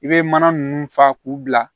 I bɛ mana ninnu fa k'u bila